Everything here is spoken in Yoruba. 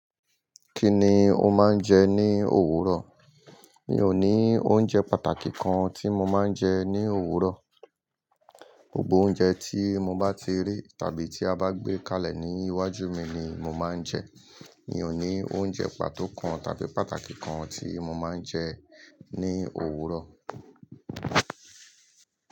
Kí ni o máa ń jẹ ní òwúrọ̀? Mi ò ní oúnjẹ pàtàkì kan tí mo máa ń jẹ ní òwúrọ̀. Gbogbo oúnjẹ tí mo bá ti rí tàbí tí a bá gbé kalẹ̀ ní iwájú mi ni mo máa ń jẹ. Mi ò ní oúnjẹ pàtó kan tàbí pàtàkì kan tí mo máa ń jẹ ní òwúrọ̀.